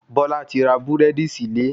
Bọ́lá ti ra Búrẹ́dì sílé